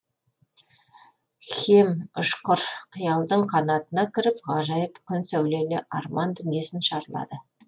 хем ұшқыр қиялдың қанатына мініп ғажайып күн сәулелі арман дүниесін шарлады